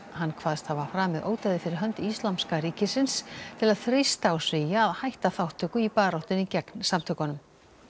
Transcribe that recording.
hann kvaðst hafa framið ódæðið fyrir hönd Íslamska ríkisins til að þrýsta á Svía að hætta þátttöku í baráttunni gegn samtökunum